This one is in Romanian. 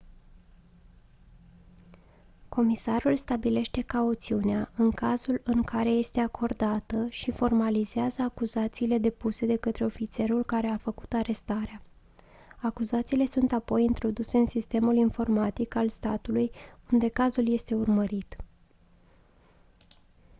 comisarul stabilește cauțiunea în cazul în care este acordată și formalizează acuzațiile depuse de către ofițerul care a făcut arestarea acuzațiile sunt apoi introduse în sistemul informatic al statului unde cazul este urmărit